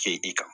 Kɛ i kan